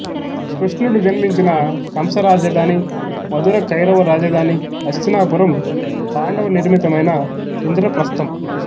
కృష్ణుడు జన్మించిన కంసరాజధాని మధురకౌరవ రాజధాని హస్తినాపురంపాండవ నిర్మితమైన ఇంద్రప్రస్తం